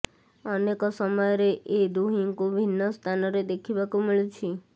ଅନେକ ସମୟରେ ଏ ଦୁହିଁଙ୍କୁ ବିଭିନ୍ନ ସ୍ଥାନରେ ଦେଖିବାକୁ ମିଳୁଛି